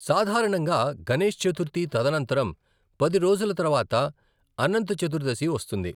సాధారణంగా గణేష్ చతుర్థి తదనంతరం పది రోజుల తరువాత అనంత్ చతుర్దశి వస్తుంది.